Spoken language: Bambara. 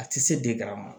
A tɛ se derama